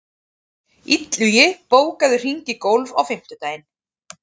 Illugi, bókaðu hring í golf á fimmtudaginn.